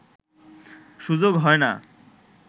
সুযোগ হয় না